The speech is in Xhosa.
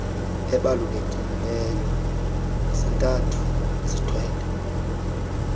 ebalulekiileyo zontathu zithwele